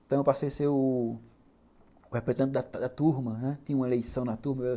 Então, eu passei a ser o representante da da turma, tinha uma eleição na turma.